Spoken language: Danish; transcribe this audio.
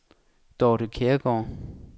Dorte Kjærgaard